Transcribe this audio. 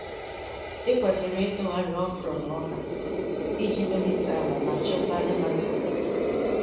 Ị kwesịrị ịtụgharị okra na ọka iji melite ala ma chịkwaa nematodes.